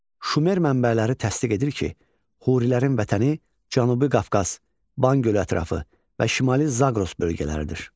Şumer mənbələri təsdiq edir ki, Hurilərin vətəni Cənubi Qafqaz, Van gölü ətrafı və Şimali Zaqros bölgələridir.